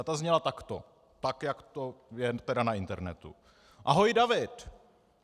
A ta zněla takto, tak jak to je tedy na internetu: "Ahoj David.